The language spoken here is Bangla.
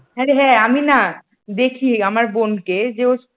আরে হ্যাঁ আমি না দেখি আমার বোনকে যে ওর